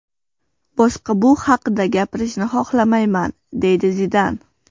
Boshqa bu haqda gapirishni xohlamayman”, deydi Zidan.